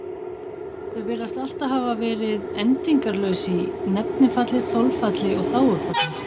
Þau virðast alltaf hafa verið endingarlaus í nefnifalli, þolfalli og þágufalli.